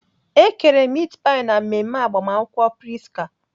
E kere mit pai na mmemme agbamakwụkwọ Prisca.